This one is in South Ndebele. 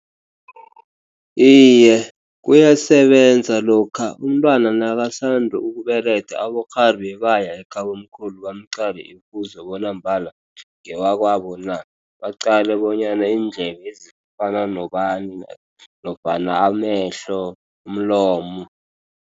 Iye, kuyasebenza. Lokha umntwana nakasanda ukubelethwa, abokghari bebaya ekhabomkhulu bamqale imfuzo bona mbala ngewakwabo na. Baqale bonyana indlebezi zifana nobani nofana amehlo, umlomo.